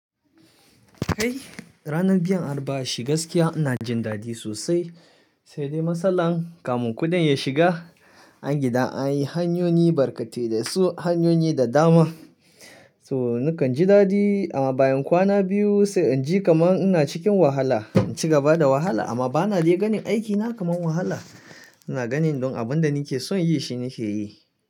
Kai ranar biyan arba'a shi gaskiya ina jin dadi sosai, sai dai matsalar kamun kuɗin ya shiga. A gida an yi hanyoyi barkate da su hanyoyi da dama. So nakan ji daɗi amma bayan kwana biyu sai in ji kaman ina cikin wahala, in ci gaba da wahala amma bana dai ganin aikina kaman wahala. Ina ganin don abin da nake son yi shine ke yi.